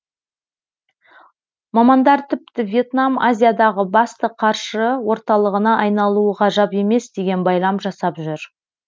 мамандар тіпті вьетнам азиядағы басты қаржы орталығына айналуы ғажап емес деген байлам жасап жүр